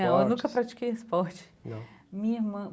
Eu nunca pratiquei esporte. Não. Minha irmã